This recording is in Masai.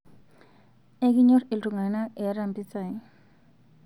ekinyor iltunganak iyata mpisai